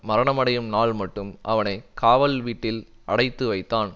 மரணமடையும் நாள்மட்டும் அவனை காவல் வீட்டில் அடைத்துவைத்தான்